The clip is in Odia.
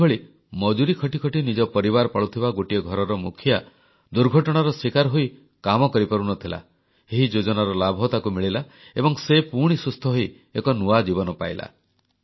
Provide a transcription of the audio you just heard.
ସେହିଭଳି ମଜୁରୀ ଖଟି ନିଜ ପରିବାର ପାଳୁଥିବା ଗୋଟିଏ ଘରର ମୁଖିଆ ଦୁର୍ଘଟଣାର ଶୀକାର ହୋଇ କାମ କରିପାରୁନଥିଲା ଏହି ଯୋଜନାର ଲାଭ ତାକୁ ମିଳିଲା ଏବଂ ସେ ପୁଣି ସୁସ୍ଥ ହୋଇ ଏକ ନୂଆ ଜୀବନ ପାଇଲା